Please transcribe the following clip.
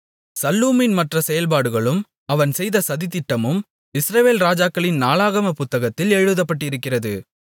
சல்லூமின் மற்ற செயல்பாடுகளும் அவன் செய்த சதித்திட்டமும் இஸ்ரவேல் ராஜாக்களின் நாளாகமப் புத்தகத்தில் எழுதப்பட்டிருக்கிறது